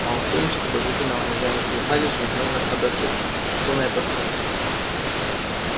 малфой ничего подозрительного не заметил гарри же мгновенно сообразил что на это сказать